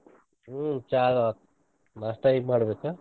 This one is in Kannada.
ಹ್ಮ್ ಚಾ ಅದು ಆತ್, ನಾಷ್ಟಾ ಈಗ ಮಾಡಬೇಕ.